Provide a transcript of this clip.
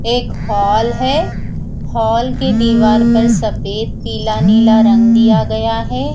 एक हॉल है हॉल के दीवार पर सफेद पिला नीला रंग दिया गया है।